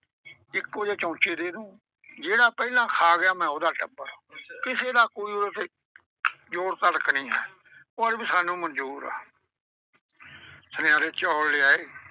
ਇੱਕੋ ਜਿਹੇ ਚਮਚੇ ਦੇ ਦੂਉਂ। ਜਿਹੜਾ ਪਹਿਲਾਂ ਖਾ ਗਿਆ ਮੈਂ ਉਹਦਾ ਟੱਬਰ, ਕਿਸੇ ਦਾ ਕੋਈ ਉਹਦੇ ਚ ਜ਼ੋਰ ਤਲਕ ਨਈਂ ਹੈ। ਉਹ ਆਂਹਦੇ ਵੀ ਸਾਨੂੰ ਮਨਜ਼ੂਰ ਆ ਸੁਨਿਆਰੇ ਚੌਲ ਲਿਆਏ।